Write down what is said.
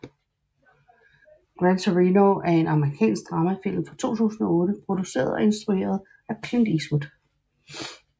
Gran Torino er en amerikansk dramafilm fra 2008 produceret og instrueret af Clint Eastwood